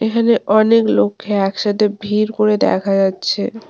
এখানে অনেক লোখকে একসাথে ভিড় করে দেখা যাচ্ছে।